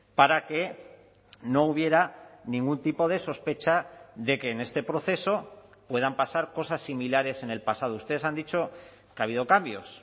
para que no hubiera ningún tipo de sospecha de que en este proceso puedan pasar cosas similares en el pasado ustedes han dicho que ha habido cambios